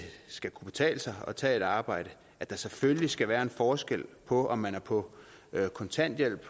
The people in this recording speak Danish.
skal kunne betale sig at tage et arbejde at der selvfølgelig skal være en forskel på om man er på kontanthjælp